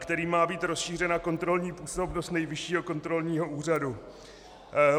Kterým má být rozšířena kontrolní působnost Nejvyššího kontrolního úřadu.